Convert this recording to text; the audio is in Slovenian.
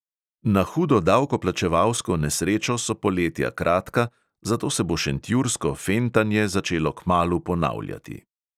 Na hudo davkoplačevalsko nesrečo so poletja kratka, zato se bo šentjursko fentanje začelo kmalu ponavljati.